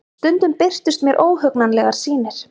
Stundum birtust mér óhugnanlegar sýnir.